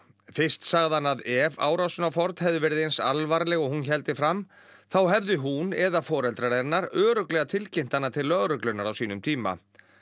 fyrst sagði hann að ef árásin á Ford hefði verið eins alvarleg og hún héldi fram þá hefði hún eða foreldrar hennar örugglega tilkynnt hana til lögreglunnar á sínum tíma